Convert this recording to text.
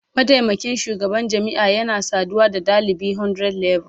Mataimakin shugaban jami'a yana saduwa da dalibi 100level